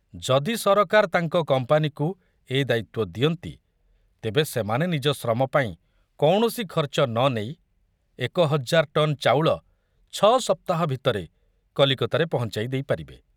ଯଦି ସରକାର ତାଙ୍କ କମ୍ପାନୀକୁ ଏ ଦାୟିତ୍ବ ଦିଅନ୍ତି ତେବେ ସେମାନେ ନିଜ ଶ୍ରମ ପାଇଁ କୌଣସି ଖର୍ଚ୍ଚ ନ ନେଇ ଏକ ହଜାର ଟନ ଚାଉଳ ଛଅ ସପ୍ତାହ ଭିତରେ କଲିକତାରେ ପହଞ୍ଚାଇ ଦେଇପାରିବେ।